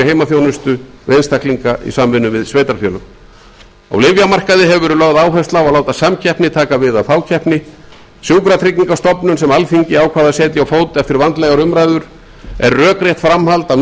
heimaþjónustu við einstaklinga í samvinnu við sveitarfélög á lyfjamarkaði hefur verið lögð áhersla á að láta samkeppni taka við af fákeppni sjúkratryggingastofnun sem alþingi ákvað að setja á fót eftir vandlegar umræður er rökrétt framhald af